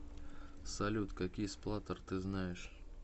салют какие сплаттер ты знаешь